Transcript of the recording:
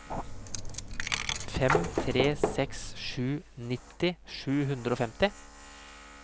fem tre seks sju nitti sju hundre og femti